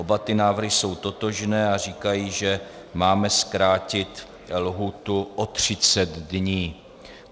Oba ty návrhy jsou totožné a říkají, že máme zkrátit lhůtu o 30 dní.